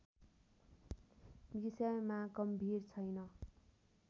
विषयमा गम्भीर छैन